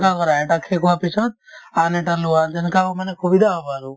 এনেকুৱা কৰা এটা শেষ হোৱাৰ পিছত আন এটা লোৱা যেনেকুৱা অ মানে সুবিধা হ'ব আৰু